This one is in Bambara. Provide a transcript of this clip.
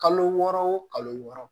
Kalo wɔɔrɔ wo kalo wɔɔrɔ